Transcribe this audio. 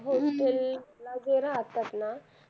hostel मध्ये राहतात ना